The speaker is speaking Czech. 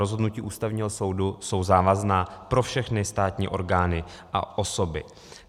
Rozhodnutí Ústavního soudu jsou závazná pro všechny státní orgány a osoby.